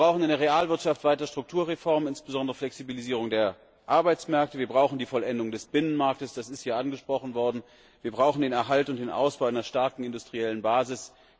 Wir brauchen in der Realwirtschaft weitere Strukturreformen, insbesondere Flexibilisierung der Arbeitsmärkte, wir brauchen die Vollendung des Binnenmarktes das ist hier angesprochen worden wir brauchen den Erhalt und den Ausbau einer starken industriellen Basis.